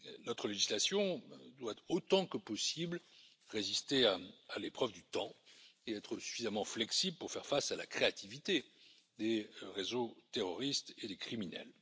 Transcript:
Notre législation doit, autant que possible, résister à l'épreuve du temps et être suffisamment flexible pour faire face à la créativité des réseaux terroristes et des criminels.